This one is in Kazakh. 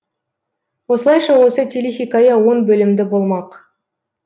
осылайша осы телехикая он бөлімді болмақ